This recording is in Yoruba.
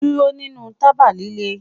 Duro mimu taba lile